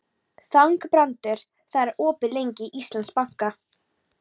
Þangbrandur, hvað er opið lengi í Íslandsbanka?